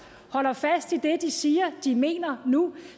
holder fast i det de siger de mener nu